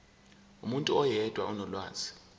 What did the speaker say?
umuntu oyedwa onolwazi